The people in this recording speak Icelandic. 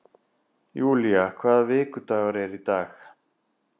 Julia, hvaða vikudagur er í dag?